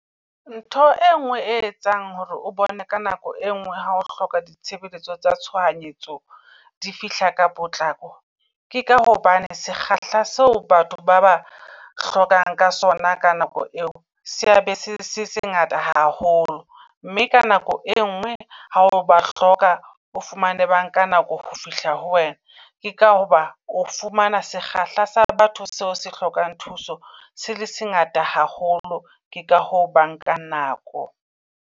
Ntho e ngwe e etsang hore o bone ka nako e ngwe ha o hloka di tshebeletso tsa tshohanyetso di fihla ka potlako. Ke ka hobane sekgahla seo batho ba ba hlokang ka sona ka nako eo sea be se se sengata haholo. Mme ka nako e ngwe ha o ba hloka o fumane ba nka nako ho fihla ho wena. Ke ka hoba o fumana sekgahla sa batho seo se hlokang thuso se le se ngata haholo. Ke ka hoo ba nkang nako.